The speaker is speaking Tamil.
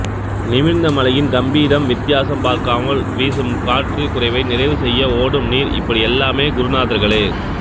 நிமிர்ந்த மலையின் கம்பீரம் வித்தியாசம் பார்க்காமல் வீசும் காற்று குறைவை நிறைவு செய்ய ஓடும் நீர் இப்படி எல்லாமே குருநாதர்களே